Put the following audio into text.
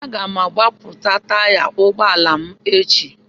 Aga m agbapụta taya ụgbọ ala m echi.